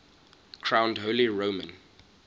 crowned holy roman